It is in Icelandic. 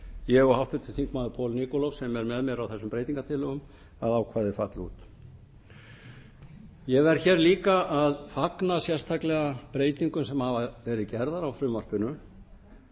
ég og háttvirtur þingmaður poul nikolov sem er með mér á þessum breytingartillögum að ákvæðið falli út ég verð hér líka að fagna sérstaklega breytingum sem hafa verið gerðar á frumvarpinu